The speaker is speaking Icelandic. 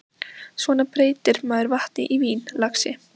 Svona breytir maður vatni í vín, lagsi.